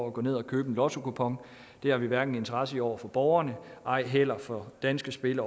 at gå ned at købe en lottokupon det har vi hverken interesse i over for borgerne ej heller over for danske spil